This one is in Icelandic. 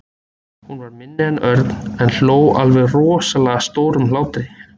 Hún var minni en Örn en hló alveg rosalega stórum hlátri.